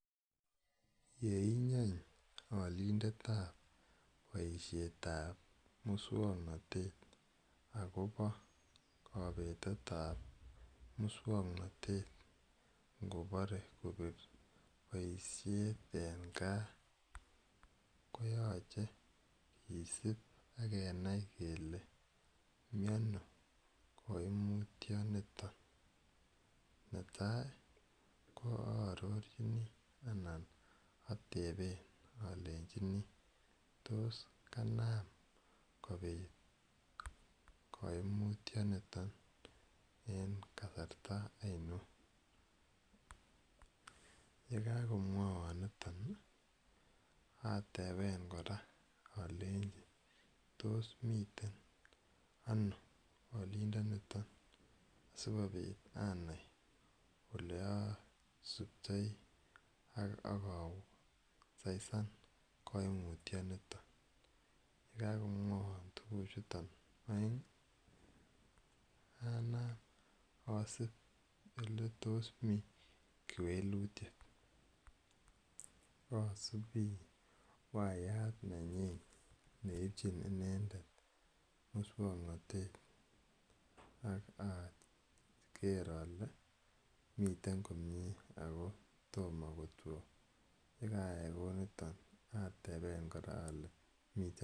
Ye inyeny alindet ap boisietap muswoknotet akopa kapetet ap muswoknotet ngopare koip boisiet eng' gaa koyache kisup ak kenai kole mi ano kaimutianitok. Nepo aeng' ko arorchini anan atepe alechini tos kanaam kopit kaimutianiton en kasarta ainon. Ye kakomwaiwa niton atepe kora alechi tos miten ano alindaniton asikopit anai ole asuptei ak aka saisan kaimutianiniton. Ye kakomwaiwa tuguchuton aeng' anam asup ole tos mi kewelitiet. Asupi wayat nenyin neipchin inendet muswoknotet ak ager ale miten komye ako toma kotwai. Ye ka ai kou niton atepe kora ale miten..